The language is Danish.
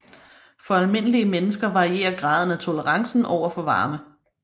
For almindelige mennesker varierer graden af tolerancen over for varme